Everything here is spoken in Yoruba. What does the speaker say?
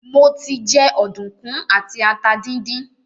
Mo ti jẹ ọ̀dùnkún àti ata díndín.